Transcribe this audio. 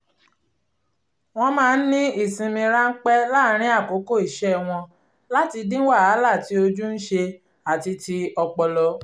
wọ́n máa ń ní ìsinmi ránpẹ́ láàárín àkókò iṣẹ́ wọ́n láti dín wàhálà tí ojú ń ṣe àti ti ọpọlọ